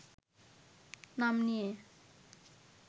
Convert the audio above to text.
নাম নিয়ে